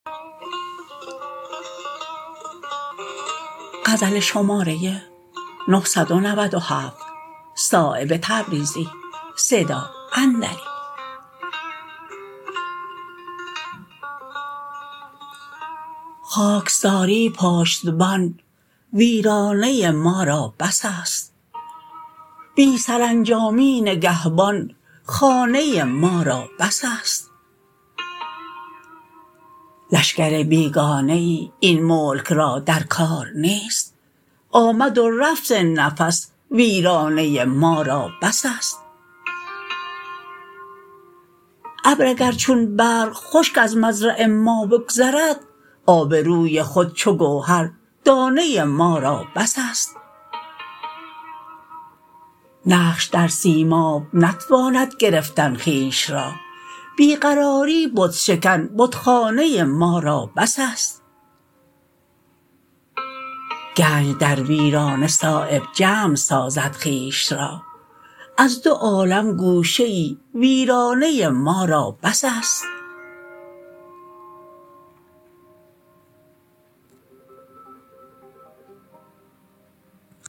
خاکساری پشتبان ویرانه ما را بس است بی سرانجامی نگهبان خانه ما را بس است لشکر بیگانه ای این ملک را در کار نیست آمد و رفت نفس ویرانه ما را بس است ابر اگر چون برق خشک از مزرع ما بگذرد آبروی خود چو گوهر دانه ما را بس است نقش در سیماب نتواند گرفتن خویش را بی قراری بت شکن بتخانه ما را بس است گنج در ویرانه صایب جمع سازد خویش را از دو عالم گوشه ای ویرانه ما را بس است